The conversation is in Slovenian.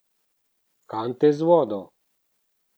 Kante z vodo.